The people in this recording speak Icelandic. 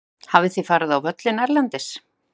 Hafið þið farið á völlinn erlendis?